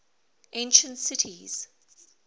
ancient cities